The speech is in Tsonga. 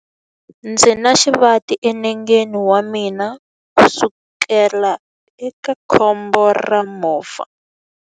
Ndzi na xivati enengeni wa mina kusukela eka khombo ra movha.